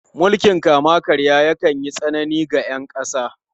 Mulkin kama-karya yakan yi tsanani ga ’yan kasa.